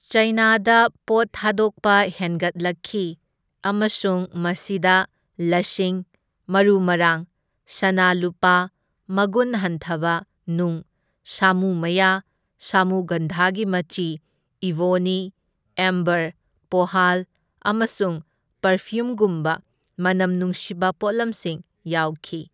ꯆꯥꯏꯅꯥꯗ ꯄꯣꯠ ꯊꯥꯗꯣꯛꯄ ꯍꯦꯟꯒꯠꯂꯛꯈꯤ ꯑꯃꯁꯨꯡ ꯃꯁꯤꯗ ꯂꯁꯤꯡ, ꯃꯔꯨ ꯃꯔꯥꯡ, ꯁꯅꯥ ꯂꯨꯄꯥ, ꯃꯒꯨꯟ ꯍꯟꯊꯕ ꯅꯨꯡ, ꯁꯥꯃꯨ ꯃꯌꯥ, ꯁꯥꯃꯨꯒꯟꯙꯥꯒꯤ ꯃꯆꯤ, ꯏꯕꯣꯅꯤ, ꯑꯦꯝꯕꯔ, ꯄꯣꯍꯥꯜ ꯑꯃꯁꯨꯡ ꯄꯥꯔꯐ꯭ꯌꯨꯝꯒꯨꯝꯕ ꯃꯅꯝ ꯅꯨꯡꯁꯤꯕ ꯄꯣꯠꯂꯝꯁꯤꯡ ꯌꯥꯎꯈꯤ꯫